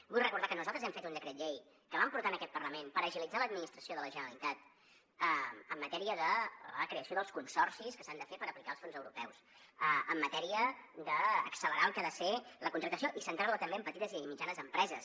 vull recordar que nosaltres hem fet un decret llei que van portar en aquest parlament per agilitzar l’administració de la generalitat en matèria de la creació dels consorcis que s’han de fer per aplicar els fons europeus en matèria d’accelerar el que ha de ser la contractació i centrant la també en petites i mitjanes empreses